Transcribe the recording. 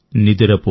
నిదురపో